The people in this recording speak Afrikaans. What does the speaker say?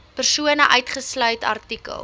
persone uitgesluit artikel